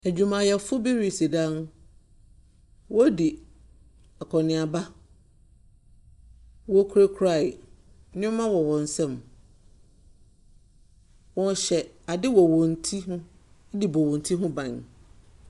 Adwuama yɛfoɔ bi ɛsi dan wɔn ɛdi akɔ neaba ɔkura nneɛma wɔ wɔn nsam wɔ hyɛ adeɛ wɔ wɔn tire edi bɔ wɔn tire hɔ ban.